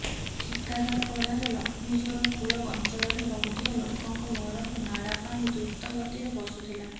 ଠିକାଦାରପଡ଼ାରେ ଲକ୍ଷ୍ମୀଯୋର କୂଳ ଅଂଚଳରେ ରହୁଥିବା ଲୋକଙ୍କ ଘରକୁ ନାଳା ପାଣି ଦ୍ରୁତ ଗତିରେ ପଶୁଥିଲା